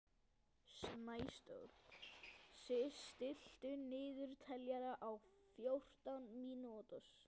Snæsól, stilltu niðurteljara á fjórtán mínútur.